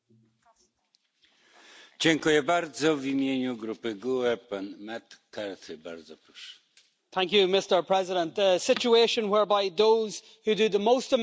Mr President, the situation whereby those who do the greatest amount of work in producing the food we eat receive the least amount of the profits has been getting worse every single year.